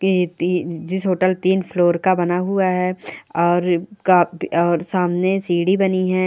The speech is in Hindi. ये ति जिस होटल तीन फ्लोर का बना हुआ है और का और सामने सीढ़ी बनी है।